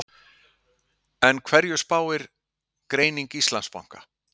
En hverju spáir greining Íslandsbanka?